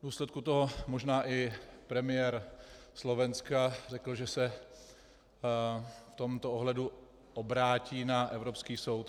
V důsledku toho možná i premiér Slovenska řekl, že se v tomto ohledu obrátí na Evropský soud.